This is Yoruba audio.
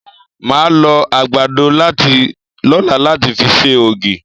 Màá lọ àgbàdo lọ́la láti fi ṣe ògì.